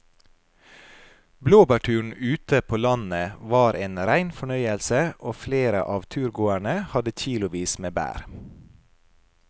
Blåbærturen ute på landet var en rein fornøyelse og flere av turgåerene hadde kilosvis med bær.